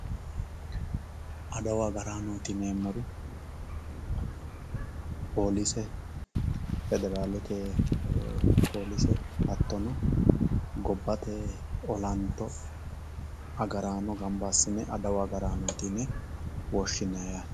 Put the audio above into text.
adawu agaraanooti yineemmori polise federaalete polise hattono gobbate olanto agaraano gamba assine adawu agaraanooti yine woshshinanni yaate.